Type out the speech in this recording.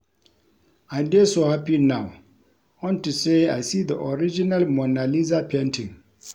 I dey so happy now unto say I see the original Mona Lisa painting